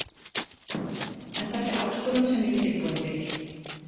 En þetta er áskorun sem ég er tilbúin fyrir.